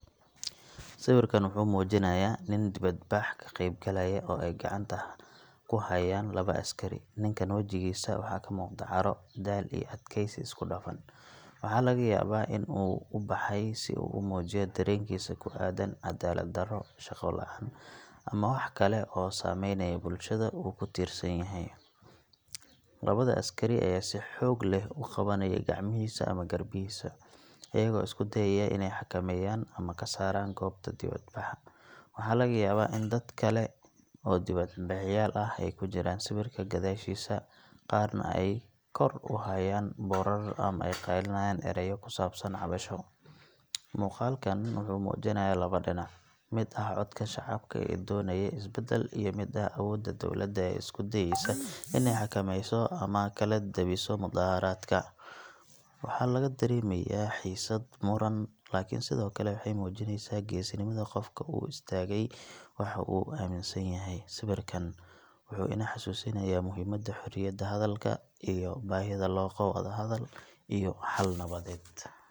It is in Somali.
Sawirkan wuxuu muujinayaa nin dibadbax ka qaybgalaya oo ay gacanta ku hayaan laba askari. Ninkan wajigiisa waxaa ka muuqda caro, daal, iyo adkaysi isku dhafan – waxaa laga yaabaa inuu u baxay si uu u muujiyo dareenkiisa ku aaddan cadaalad darro, shaqo la’aan, ama wax kale oo saameynaya bulshada uu ka tirsan yahay. Labada askari ayaa si xoog leh u qabanaya gacmihiisa ama garbihiisa, iyagoo isku dayaya inay xakameeyaan ama ka saaraan goobta dibadbaxa. Waxaa laga yaabaa in dad kale oo dibadbaxayaal ah ay ku jiraan sawirka gadaashiisa, qaarna ay kor u hayaaan boorar ama ay qaylinayaan erayo ku saabsan cabasho. Muuqaalkan wuxuu muujinayaa laba dhinac – mid ah codka shacabka ee doonaya isbeddel, iyo mid ah awoodda dowladda ee isku dayaysa in ay xakameyso ama kala daabiso mudaharaadka. Waxaa laga dareemayaa xiisad, muran, laakiin sidoo kale waxay muujinaysaa geesinimada qofka u istaagay waxa uu aaminsan yahay. Sawirkan wuxuu inoo xasuusinayaa muhiimadda xorriyadda hadalka iyo baahida loo qabo wadahadal iyo xal nabadeed.